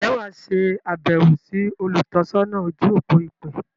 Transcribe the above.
Ǹjẹ́ wà á se àbẹ̀wọ̀ sí “ olùtọ́sọ́nà ojú-òpó ìpè”?